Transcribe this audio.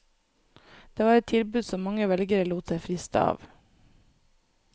Det var et tilbud som mange velgere lot seg friste av.